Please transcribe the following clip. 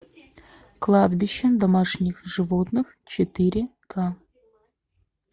кладбище домашних животных четыре ка